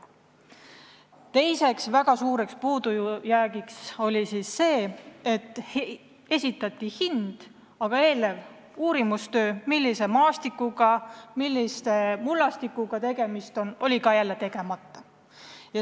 Teine väga suur puudujääk oli see, et esitati hind, aga eelnev uurimistöö, millise maastiku ja mullastikuga tegemist on, oli tegemata.